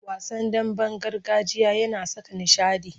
Wasan damben gargajiya yana saka nishaɗi.